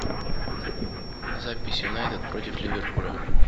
запись юнайтед против ливерпуля